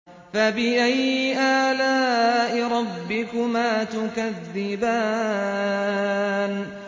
فَبِأَيِّ آلَاءِ رَبِّكُمَا تُكَذِّبَانِ